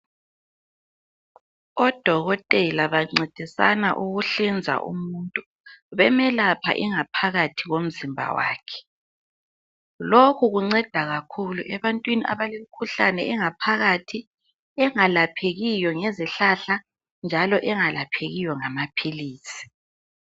Odokotela bancedisana ukuhlinza umuntu bemelapha ingaphakathi komzimba wakhe lokhu kunceda kakhulu ebantwini abalemkhuhlane engaphakathi engalaphekiyo ngezihlahla njalo engalaphekiyo ngamaphilisi.